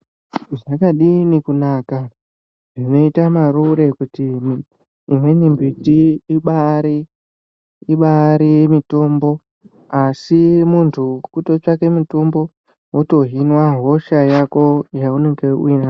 zvakadini kunaka zvinoita marure kuti imweni mbiti ibari mitombo. Asi muntu kutotsvake mitombo votohinwa hosha yako yaunenge uinayo.